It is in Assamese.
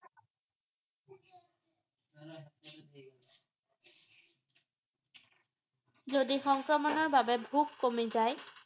যদি সংক্ৰমণৰ বাবে ভোক কমি যায়